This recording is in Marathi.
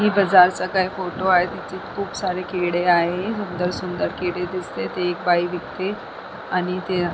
हे बझारसारका फोटो आहे इथे खूप सारे केळे आहेत सुंदर सुंदर केळे दिसतेत ते एक बाई विकतेय आणि ते--